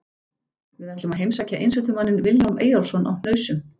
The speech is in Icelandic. Við ætlum að heimsækja einsetumanninn Vilhjálm Eyjólfsson á Hnausum.